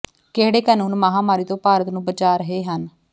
ਕਿਹੜੇ ਕਾਨੂੰਨ ਮਹਾਂਮਾਰੀ ਤੋਂ ਭਾਰਤ ਨੂੰ ਬਚਾ ਰਹੇ ਹਨ